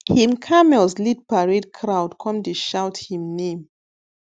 him camels lead parade crowd come dey shout him name